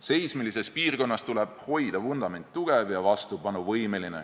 Seismilises piirkonnas tuleb hoida vundament tugev ja vastupanuvõimeline.